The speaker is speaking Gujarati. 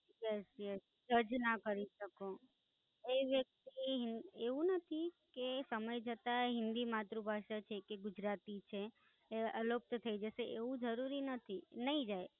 Yes Yes જજ ના કરી શકો એ વ્યક્તિ એવું નથી કે સમય જતાંય હિન્દી માતૃભાષા છે કે ગુજરાતી છે? એ અલોપ્ત થઇ જશે એવું જરૂરી નથી. નઈ જાય.